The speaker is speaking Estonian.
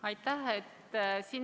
Aitäh!